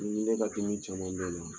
Nin ni ne ka dimi caman bɛ na